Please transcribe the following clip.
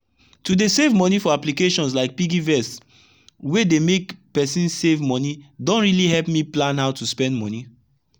to dey save money for applications like piggy vest wey dey make person save money don really help me plan how to spend money